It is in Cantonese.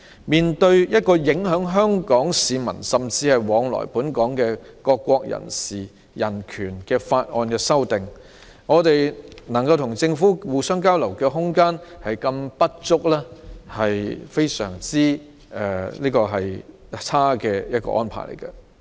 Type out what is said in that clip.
面對影響香港市民，甚至是往來本港的各國人士的人權的法例修訂，我們能與政府交流的空間十分不足，這種安排實在非常差勁。